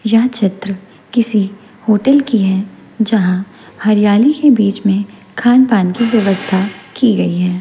यह चित्र किसी होटल की है जहां हरियाली के बीच में खानपान की व्यवस्था की गई है।